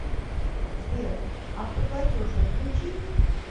сбер автоплатеж отключить